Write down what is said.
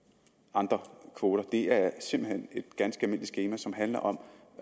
andre kvoter det er simpelt hen et ganske almindeligt skema som handler om